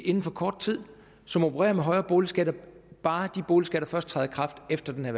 inden for kort tid som opererer med højere boligskatter bare de boligskatter først træder i kraft efter den her